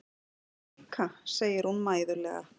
Þú líka, segir hún mæðulega.